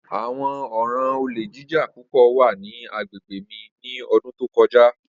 Awọn ọran ole jija pupọ wa ni agbegbe mi ni ọdun to kọja.